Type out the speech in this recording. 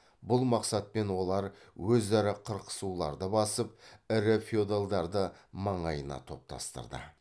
бұл мақсатпен олар өзара қырқысуларды басып ірі феодалдарды маңайына топтастырды